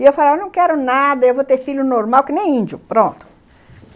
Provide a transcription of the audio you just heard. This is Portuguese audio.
E eu falava, não quero nada, eu vou ter filho normal, que nem índio, pronto.